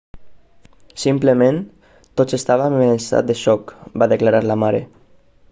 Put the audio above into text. simplement tots estàvem en estat de xoc va declarar la mare